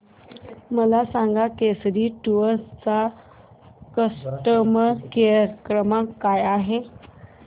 मला सांगा केसरी टूअर्स चा कस्टमर केअर क्रमांक काय आहे